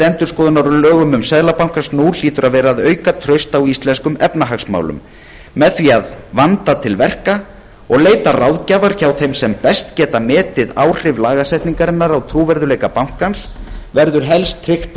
endurskoðunar á lögum seðlabankans nú hlýtur að vera að auka traust á íslenskum efnahagsmálum með því að vanda til verka og leita ráðgjafar þeirra sem best geta metið áhrif lagasetningarinnar á trúverðugleika bankans verður helst tryggt að